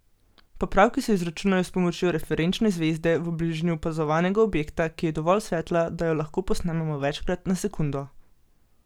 Popravki se izračunajo s pomočjo referenčne zvezde v bližini opazovanega objekta, ki je dovolj svetla, da jo lahko posnamemo večkrat na sekundo.